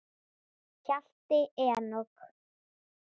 Hjalti Enok.